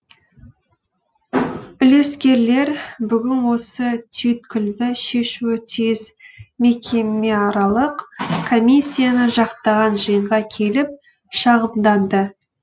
үлескерлер бүгін осы түйткілді шешуі тиіс мекемеаралық комиссияны жақтаған жиынға келіп шағымданды